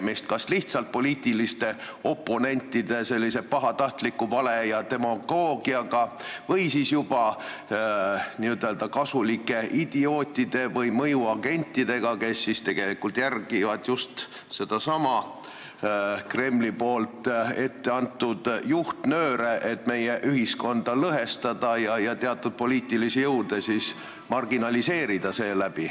Kas tegu on lihtsalt poliitiliste oponentide pahatahtliku vale ja demagoogiaga või juba n-ö kasulike idiootide või mõjuagentidega, kes tegelikult järgivad just sellesama Kremli etteantud juhtnööre, et meie ühiskonda lõhestada ja teatud poliitilisi jõude seeläbi marginaliseerida?